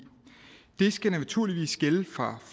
det skal naturligvis gælde fra